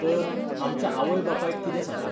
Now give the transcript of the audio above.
तर, आमच्या आवय बापायक कितें सांगप?